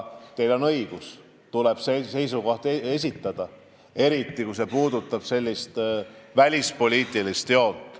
Teil on õigus, tuleb seisukoht esitada, eriti kui asi on välispoliitilises joones.